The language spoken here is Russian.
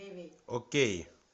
окей